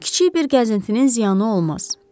Kiçik bir gəzintinin ziyanı olmaz.